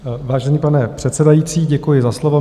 Vážený pane předsedající, děkuji za slovo.